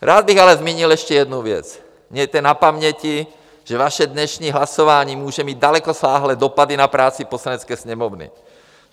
Rád bych ale zmínil ještě jednu věc: mějte na paměti, že vaše dnešní hlasování může mít dalekosáhlé dopady na práci Poslanecké sněmovny.